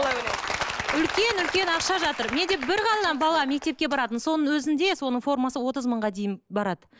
үлкен үлкен ақша жатыр менде бір ғана бала мектепке барады соның өзінде соның формасы отыз мыңға дейін барады